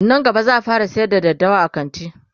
Nan gaba zaa fara sayar da daddawa a kanti